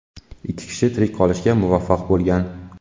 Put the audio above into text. Ikki kishi tirik qolishga muvaffaq bo‘lgan.